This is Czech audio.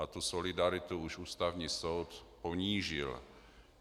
A tu solidaritu již Ústavní soud ponížil.